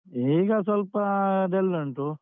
ಈಗ ಸ್ವಲ್ಪ dull ಉಂಟು.